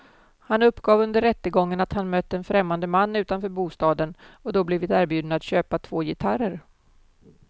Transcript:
Han uppgav under rättegången att han mött en främmande man utanför bostaden och då blivit erbjuden att köpa två gitarrer.